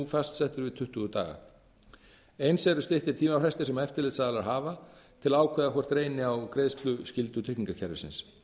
fastsettur við tuttugu daga eins eru styttir tímafrestir sem eftirlitsaðilar hafa til að ákveða hvort reyni á greiðsluskyldu tryggingakerfisins